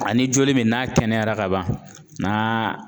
Ani joli min n'a kɛnɛyara ka ban n'a